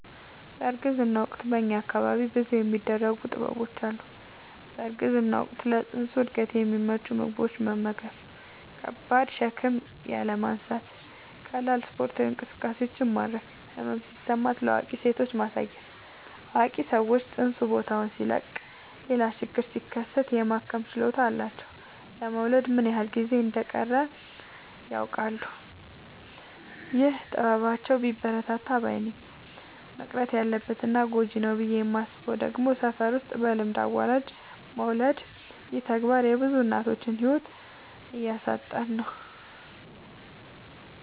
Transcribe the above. በእርግዝና ወቅት በእኛ አካባቢ ብዙ የሚደረጉ ጥበቦች አሉ። በእርግዝና ወቅት ለፅንሱ እድገት የሚመቹ ምግቦችን መመገብ። ከባድ ሸክም ያለማንሳት ቀላል ስፓርታዊ እንቅስቃሴዎችን ማድረግ። ህመም ሲሰማት ለአዋቂ ሴቶች ማሳየት አዋቂ ሰዎች ፅንሱ ቦታውን ሲለቅ ሌላ ችግር ሲከሰት የማከም ችሎታ አላቸው ለመወለድ ምን ያክል ጊዜ እንደ ሚቀረውም ያውቃሉ። ይህ ጥበባቸው ቢበረታታ ባይነኝ። መቅረት አለበት እና ጎጂ ነው ብዬ የማስበው ደግሞ ሰፈር ውስጥ በልምድ አዋላጅ መውለድ ይህ ተግባር የብዙ እናቶችን ህይወት እያሳጣን ነው።